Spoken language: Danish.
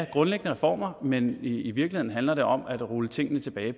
grundlæggende reformer men i virkeligheden handler det om at rulle tingene tilbage